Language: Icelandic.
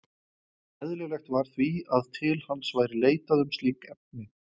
Eðlilegt var því, að til hans væri leitað um slík efni.